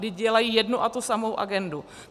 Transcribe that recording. Vždyť dělají jednu a tu samou agendu.